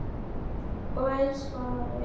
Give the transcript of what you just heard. Og elsku afi.